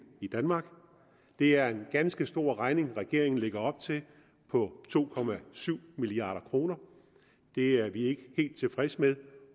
i danmark det er en ganske stor regning regeringen lægger op til på to milliard kroner det er vi ikke helt tilfredse med